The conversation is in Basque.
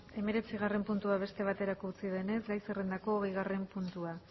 hemeretzigarren puntua beste batera utzi denez gai zerrendako hogeigarren puntua